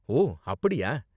ஓ, அப்படியா?